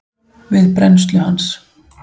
við brennslu hans.